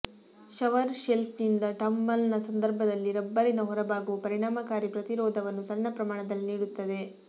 shower ಶೆಲ್ಫ್ನಿಂದ ಟಂಬಲ್ನ ಸಂದರ್ಭದಲ್ಲಿ ರಬ್ಬರಿನ ಹೊರಭಾಗವು ಪರಿಣಾಮಕಾರಿ ಪ್ರತಿರೋಧವನ್ನು ಸಣ್ಣ ಪ್ರಮಾಣದಲ್ಲಿ ನೀಡುತ್ತದೆ